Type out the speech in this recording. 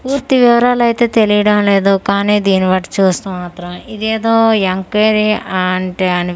పూర్తి వివరాలైతే తెలియడం లేదు కానీ దీని బట్టి చూస్తే మాత్రం ఇదేదో ఎంక్వైరీ ఆంటే అని --